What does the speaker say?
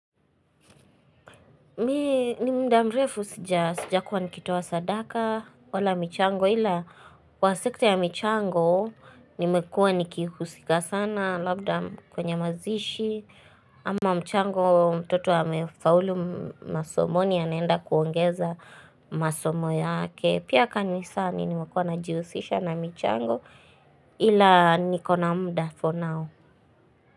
Mi ni mudamrefu sija kuwa nikitaoa sadaka wala michango ila kwa sekte ya michango nimekua nikihusika sana labda kwenye mazishi ama mchango mtoto amefaulu masomoni ya naenda kuongeza masomo yake pia kani sani nimekuwa na jihusisha na michango ila nikona muda for now.